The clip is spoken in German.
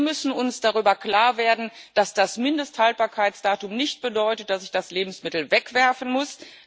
Wir müssen uns darüber klar werden, dass das Mindesthaltbarkeitsdatum nicht bedeutet, dass ich das Lebensmittel wegwerfen muss.